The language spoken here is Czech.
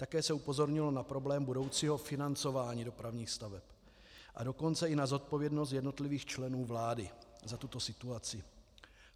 Také se upozornilo na problém budoucího financování dopravních staveb, a dokonce i na zodpovědnost jednotlivých členů vlády za tuto situaci.